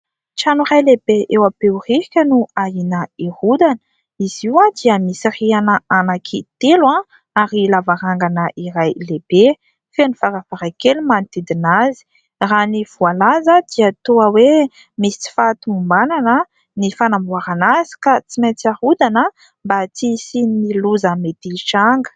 Trano iray lehibe eo Behoririka no ahihina hirodana. Izy io dia misy rihana anankitelo ary lavarangana iray lehibe ; feno varavarankely manodidina azy. Raha ny voalaza dia toa hoe : misy tsy fahatomombanana ny fanamboarana azy, ka tsy maintsy harodana mba tsy hisian'ny loza mety hitranga.